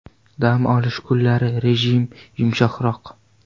Dam olish kunlari rejim yumshoqroq.